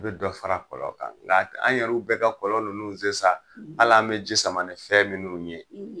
I bɛ dɔ fara kɔlɔn kan anw yɛrɛ bɛɛ ka kɔlɔn nunnu sen sa, hali an bɛ ji sama ni fɛn minnu ye;